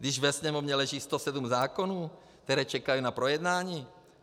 Když ve Sněmovně leží 107 zákonů, které čekají na projednání!